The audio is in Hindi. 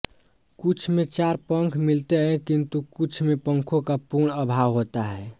कुछ में चार पंख मिलते हैं किंतु कुछ में पंखों का पूर्ण अभाव होता है